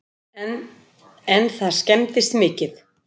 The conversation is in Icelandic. En það skemmdist mikið